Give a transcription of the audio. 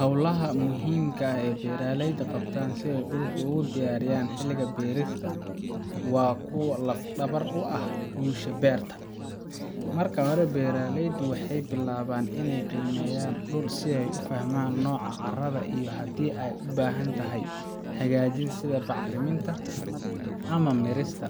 Hawlahaan muhiimka ah ee beeraleyda qabtaan si ay dhulka ugu diyaariyaan xilliga beerista waa kuwo laf-dhabar u ah guusha beerta. Marka hore, beeraleydu waxay bilaabaan inay qiimeeyaan dhulka si ay u fahmaan nooca carrada iyo haddii ay u baahan tahay hagaajin sida bacriminta ama miirista.